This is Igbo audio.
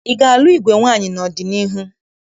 Ị ga-alụ igwe nwaamyị n'ọdịniihu?